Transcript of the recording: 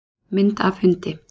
Mynd af hundi.